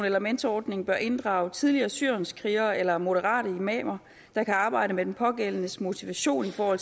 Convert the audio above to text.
eller mentorordning bør inddrage tidligere syrienskrigere eller moderate imamer der kan arbejde med den pågældendes motivation for